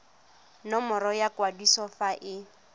nomoro ya kwadiso fa e